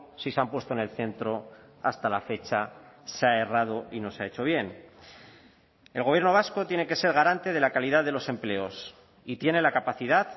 si se han puesto en el centro hasta la fecha se ha errado y no se ha hecho bien el gobierno vasco tiene que ser garante de la calidad de los empleos y tiene la capacidad